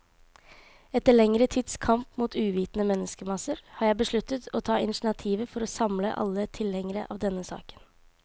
Etter lengre tids kamp mot uvitende menneskemasser, har jeg besluttet å ta initiativet for å samle alle tilhengere av denne saken.